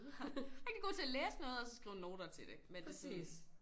Rigtig god til at læse noget og så skrive noter til det men det sådan